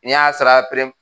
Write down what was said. N'i y'a sara